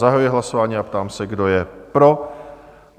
Zahajuji hlasování a ptám se, kdo je pro?